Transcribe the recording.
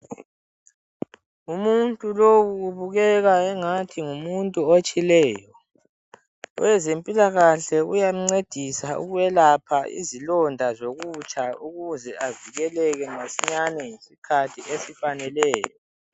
Umuntu lowu ubukeka engathi ngumuntu otshileyo. Owezempilakahle uyamncedisa ukwelapha izilonda zokutsha ukuze avikeleke masinyane ngesikhathi esifaneleyo.